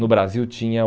No Brasil tinha o...